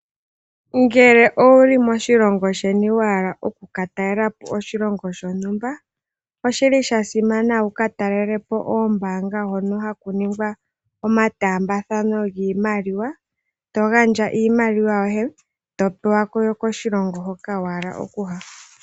Ngele owuli moshilongo sheni wahala wuka talelepo oshilongo shontumba oshili shasimana wuka talelepo oombanga hono haku ningwa omataambathano giimaliwa togandja iimaliwa yoye Topeka yokoshilongo hoka wa hala okuya.